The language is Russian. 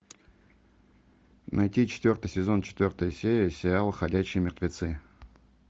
найти четвертый сезон четвертая серия сериал ходячие мертвецы